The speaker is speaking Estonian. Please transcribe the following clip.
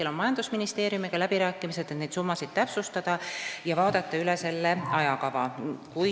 Praegu käivad läbirääkimised majandusministeeriumiga, et neid summasid täpsustada ja vaadata üle ajakava.